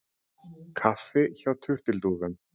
Kaffi hjá turtildúfum